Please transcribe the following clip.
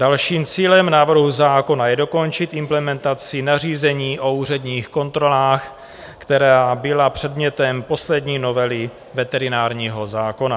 Dalším cílem návrhu zákona je dokončit implementaci nařízení o úředních kontrolách, která byla předmětem poslední novely veterinárního zákona.